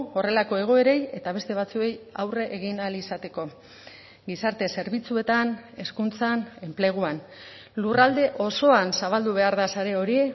horrelako egoerei eta beste batzuei aurre egin ahal izateko gizarte zerbitzuetan hezkuntzan enpleguan lurralde osoan zabaldu behar da sare hori